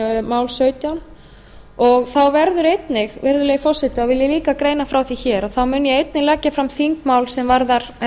mál sautján þá vil ég líka greina frá því hér að ég mun einnig leggja fram þingmál er